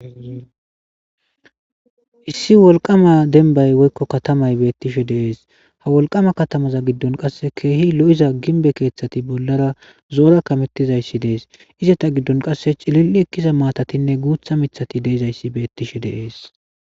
Issi wolqama denbay woykko katamay beettishe deees ha wolqama katamaza giddon qasse keehi lo'iza ginbe keeththati bollara zoora kamettizayssi dees izeta giddon qasse cilil'i ekkiza maatatinne guutha mithati deezayssi beettishe deees.